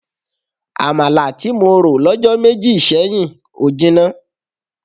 Àmàlà tí mo rò lọ́jọ́ méjì sẹ́yìn ò jinná.